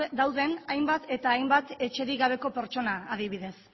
dauden hainbat eta hainbat etxerik gabe pertsona adibidez